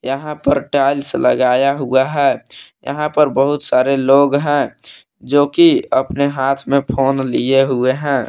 यहां पर टाइल्स लगाया हुआ है यहां पर बहुत सारे लोग हैं जोकि अपने हाथ में फोन लिए हुए हैं।